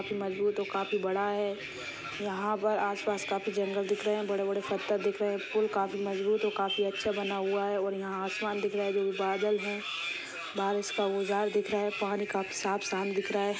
मजबूत और काफी बड़ा हैं यहाँ पर आस पास काफी जंगल दिख रहे हैं बड़े बड़े पत्थर दिख रहे हैं पूल काफी मजबूत और काफी अच्छा बना हुआ हैं और यहाँ आसमान दिख रहा हैं जो भी बादल हैं बारिश का उजाल दिख रहा हैं पानी काफी साफ साफ दिख रहा है।